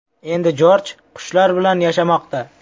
Endi Jorj qushlar bilan yashamoqda.